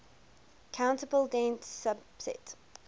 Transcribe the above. countable dense subset